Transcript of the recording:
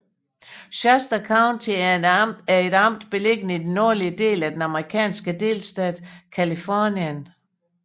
Shasta County er et amt beliggende i den nordlige del af den amerikanske delstat Californien